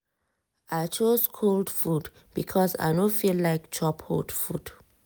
i choose cold food because i no feel like chop hot food.